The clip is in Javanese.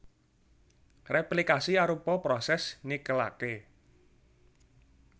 Réplikasi arupa prosès nikelaké